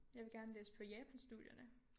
Jeg vil gerne læse på japanstudierne